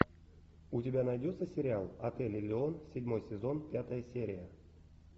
у тебя найдется сериал отель элеон седьмой сезон пятая серия